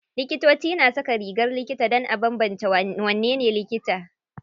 Likitoci na saka rigar likita dan a banbance wanene likita.